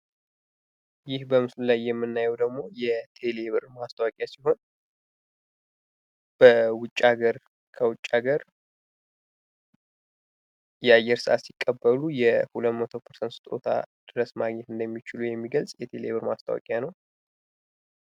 ይህ በምስሉ ላይ የምናየው ደሞ የቴሌ ብር ማስታወቂያ ሲሆን ፤ ከውጭ ሀገር የአየር ሰአት ሲቀበሉ የሁለት መቶ ፐርሰንት ስጦታ ድረስ ማግኘት እንደሚችሉ የሚገልጽ የቴሌ ብር ማስታወቂያ ነው።